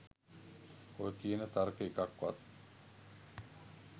ඔය කියන තර්ක එකක්වත්